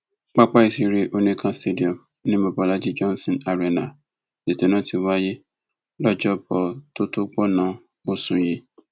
pápá ìṣeré oníkan stadium ni mobólájí johnson arena lẹtọ náà ti wáyé lọjọbọtòtògbònón osù yìí